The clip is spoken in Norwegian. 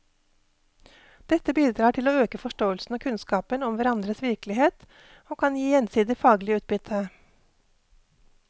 Dette bidrar til å øke forståelsen og kunnskapen om hverandres virkelighet og kan gi gjensidig faglig utbytte.